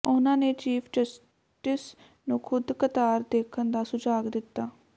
ਉਨ੍ਹਾਂ ਨੇ chief justice ਨੂੰ ਖ਼ੁਦ ਕਤਾਰ ਦੇਖਣ ਦਾ ਸੁਝਾਅ ਦਿੱਤਾ